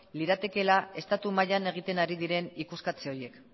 liratekeela estatu mailan egiten ari diren ikuskatze horiek